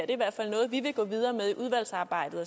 i hvert fald noget vi vil gå videre med i udvalgsarbejdet